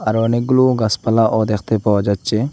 আরো অনেকগুলো গাছপালা ও দ্যাখতে পাওয়া যাচ্চে।